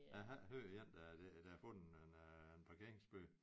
Jeg har ikke hørt om én der der har fået en øh en parkeringsbøde